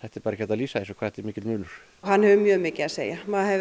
er bara ekki hægt að lýsa því hvað þetta er mikill munur hann hefur mjög mikið að segja maður heyrir